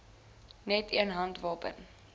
net een handwapen